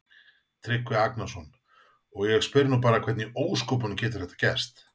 Tryggvi Agnarsson: Og ég spyr nú bara hvernig í ósköpunum getur þetta gerst?